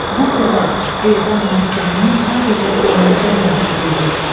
Bu xilas edam məhkumunun sadəcə beynində mövcud idi.